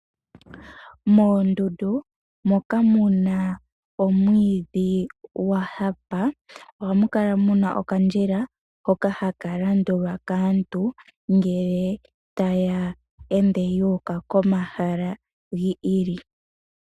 Moondundu moka mu na omwiidhi gwa hapa ohamu kala muna okandjila hoka haka landulwa kaantu ngele taya ende yu uka momahala gi ili.